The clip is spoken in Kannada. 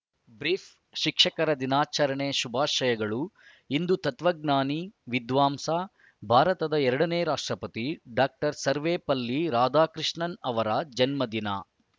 ಬ್ರೀಫ್‌ ಶಿಕ್ಷಕರ ದಿನಾಚರಣೆ ಶುಭಾಶಯಗಳು ಇಂದು ತತ್ವಜ್ಞಾನಿ ವಿದ್ವಾಂಸ ಭಾರತದ ಎರಡನೇ ರಾಷ್ಟ್ರಪತಿ ಡಾಕ್ಟರ್ ಸರ್ವೇಪಲ್ಲಿ ರಾಧಾಕೃಷ್ಣನ್‌ ಅವರ ಜನ್ಮದಿನ